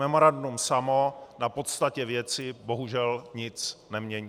Memorandum samo na podstatě věci bohužel nic nemění.